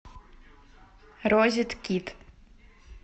розет кит